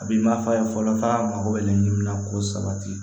A bi mafa fɔlɔ f'a mago bɛ laɲini min na ko sabati